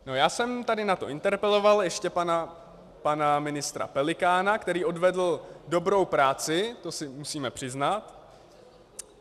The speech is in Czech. Já jsem tady na to interpeloval ještě pana ministra Pelikána, který odvedl dobrou práci, to si musíme přiznat.